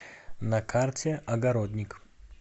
на карте огородник